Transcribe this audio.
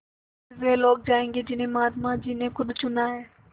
स़िर्फ वे लोग जायेंगे जिन्हें महात्मा जी ने खुद चुना है